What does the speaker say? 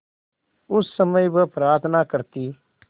उस समय वह प्रार्थना करती